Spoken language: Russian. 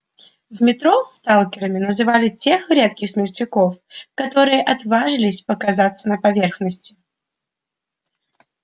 в метро сталкерами называли тех редких смельчаков которые отваживались показаться на поверхности